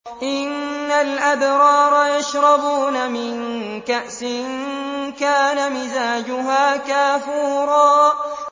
إِنَّ الْأَبْرَارَ يَشْرَبُونَ مِن كَأْسٍ كَانَ مِزَاجُهَا كَافُورًا